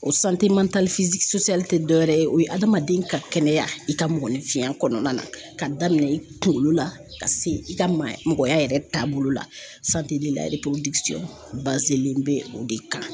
O tɛ dɔwɛrɛ ye o ye hadamaden ka kɛnɛya i ka mɔgɔninfinya kɔnɔna na ka daminɛ i kunkolo la ka se i ka maa mɔgɔya yɛrɛ taabolo la len bɛ o de kan.